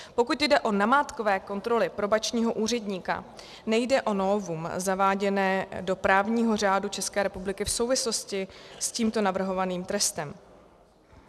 Pokud jde o namátkové kontroly probačního úředníka, nejde o novum zaváděné do právního řádu České republiky v souvislosti s tímto navrhovaným trestem.